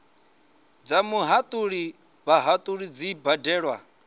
dza muhatuli vhahatuli dzi badelwa